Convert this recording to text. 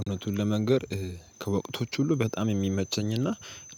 እውነቱን ለመንገር ከወቅቶች ሁሉ በጣም የሚመቸኝና